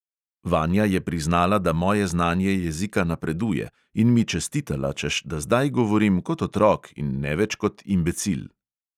Vanja je priznala, da moje znanje jezika napreduje, in mi čestitala, češ da zdaj govorim kot otrok in ne več kot imbecil.